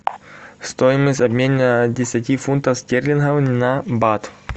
стоимость обмена десяти фунтов стерлингов на бат